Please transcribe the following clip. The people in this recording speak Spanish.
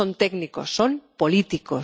No son técnicos son políticos.